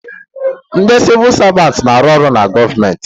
Ndị Sịvụ Savantị na arụ ọrụ na gọọmenti